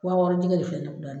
Wa wɔɔrɔ jɛgɛ de filɛ ne kun na